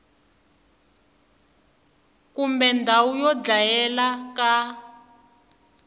kumbe ndhawu yo dlayela ka